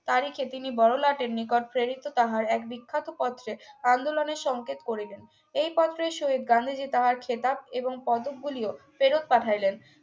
তারিখে তিনি বড়লাটের নিকট ফেরিত তাহার এক বিখ্যাত পত্রে আন্দোলনের সংকেত করিলেন এই পত্রের সহিত গান্ধীজী তাহার এইখেতাব এবং পদকগুলিও ফেরত পাঠালেন